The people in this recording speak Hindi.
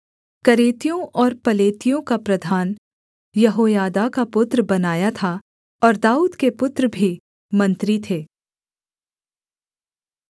करेतियों और पलेतियों का प्रधान यहोयादा का पुत्र बनायाह था और दाऊद के पुत्र भी मंत्री थे